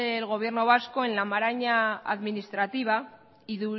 el gobierno vasco en la maraña administrativa y